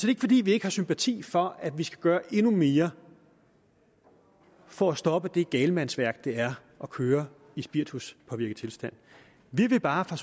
ikke fordi vi ikke har sympati for at vi skal gøre endnu mere for at stoppe det galmandsværk det er at køre i spirituspåvirket tilstand vi vil bare fra